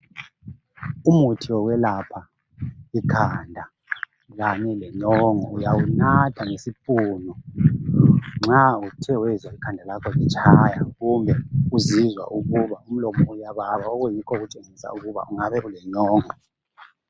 Umuthi wokwelapha ikhanda kanye lenyongo uyawunatha ngesipunu nxa usizwa ukuthi ikhanda lakho liyakutshaya kumbe uzizwa ukuba umlomo uyababa okutshengisa ukuthi ungabe ulenyongo.